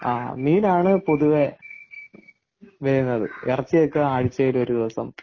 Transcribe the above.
മീന ആണ് പൊതുവെ വരുന്നത് ഇറച്ചി ഒക്കെ ആഴ്ചയിൽ ഒരു ദിവസം.